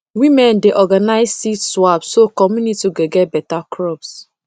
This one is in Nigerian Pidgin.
women dey organize seed swap so community go get better crops